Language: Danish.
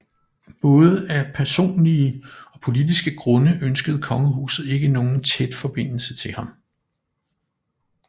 Både af personlige og politiske grunde ønskede kongehuset ikke nogen tæt forbindelse til ham